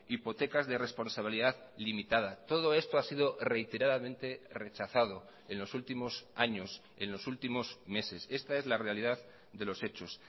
hipotecas de responsabilidad limitada todo esto ha sido reiteradamente rechazado en los últimos años en los últimos meses esta es la realidad de los hechos